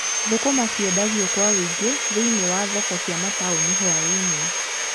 Thũkũma ciendagio kwa ũingĩ thĩiniĩ wa thoko cia mataũni hũainĩ.